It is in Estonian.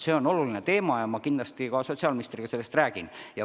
See on oluline teema ja ma kindlasti ka sotsiaalministriga sellest räägin.